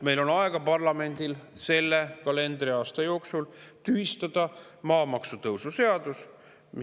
Meil, parlamendil, on aega selle kalendriaasta jooksul maamaksu tõusu seadus tühistada.